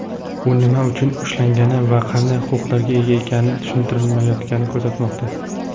u nima uchun ushlangani va qanday huquqlarga ega ekani tushuntirilmayotganini ko‘rsatmoqda.